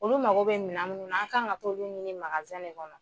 Olu mago bɛ minan minnu na an kan ka t'olu ɲini magansan in kɔnɔ.